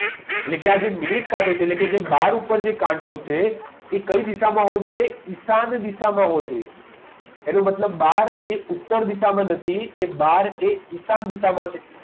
એટલે કે આજે મિનિટ કાંટો છે એટલે કે જે બાર ઉપર જે કાંટો છે એ કઈ દિશામાં હોવો જોઈએ ઈશાન દિશામાં હોવો જોઈએ એનો મતલબ બાર એ ઉત્તર દિશામાં નથી એ બાર એ ઈશાન દિશામાં છે